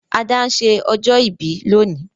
Ada n se ọjọ́ ìbí lónìí